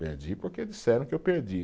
Perdi porque disseram que eu perdi.